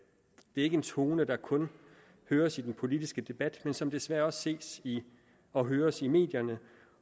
er ikke en tone der kun høres i den politiske debat men som desværre også ses og høres i medierne